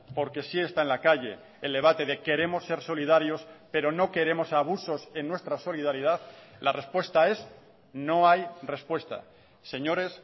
porque sí está en la calle el debate de queremos ser solidarios pero no queremos abusos en nuestra solidaridad la respuesta es no hay respuesta señores